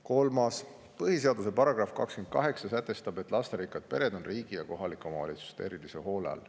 Kolmas küsimus: "Põhiseaduse paragrahv 28 sätestab, et lasterikkad pered on riigi ja kohalike omavalitsuste erilise hoole all.